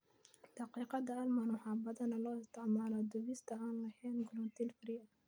Daqiiqda almond waxaa badanaa loo isticmaalaa dubista aan lahayn gluten-free.